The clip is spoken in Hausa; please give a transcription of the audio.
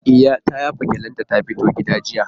E, ta yafa gyalle da ta fito gidan jiya.